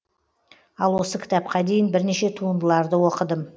ал осы кітапқа дейін бірнеше туындыларды оқыдым